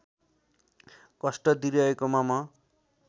कष्ट दिइरहेकोमा म